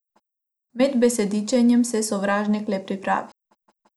Med besedičenjem se sovražnik le pripravi.